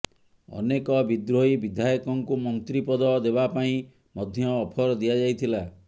ଅନେକ ବିଦ୍ରୋହୀ ବିଧାୟକଙ୍କୁ ମନ୍ତ୍ରୀ ପଦ ଦେବା ପାଇଁ ମଧ୍ୟ ଅଫର ଦିଆଯାଇଥିଲା